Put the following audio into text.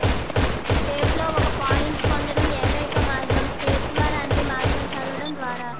టేప్లో ఒక పాయింట్ పొందడం ఏకైక మార్గం టేప్ ద్వారా అన్ని మార్గం చదవడం ద్వారా